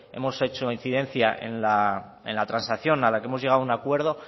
hemos hecho incidencia en la transacción a la que hemos llegado a un acuerdo